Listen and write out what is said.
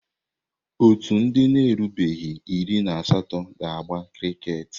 Ọ́tù ndị na-erubeghị iri na asatọ ga-agba kriket.